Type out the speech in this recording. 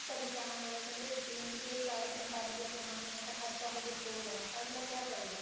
ਪਰੇਸ਼ਾਨ ਹੋ ਰਹੇ ਹੈ ਕਹਿੰਦੇ ਦਿਨ ਚ ਚਾਲੀ ਪੰਤਾਲੀ ਰੁਪਇਆ ਕਮਾਣੇ ਹਾਂ ਤਾਂ ਖਰਚਾ ਹੋਵੇ ਸੋ ਦਾ ਤਾਂ ਅੱਗਲਾ ਕਿਆ ਕਰੂਗਾ